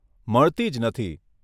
મળતી જ નથી.